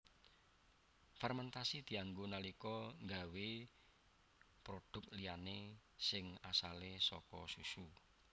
Fermentasi dianggo nalika nggawé produk liyané sing asale saka susu